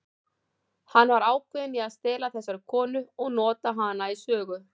Hann var ákveðinn í að stela þessari konu og nota hana í sögu.